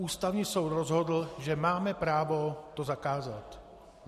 Ústavní soud rozhodl, že máme právo to zakázat.